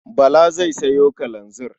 Bala zai sayo kalanzir.